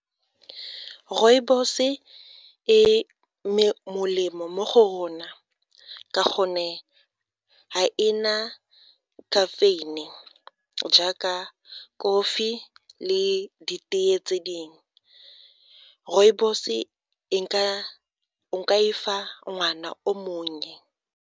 Rooibos e molemo mo go rona ka gonne ga ena caffeine jaaka kofi le ditee tse dingwe. Rooibos o ka e fa ngwana o monnye.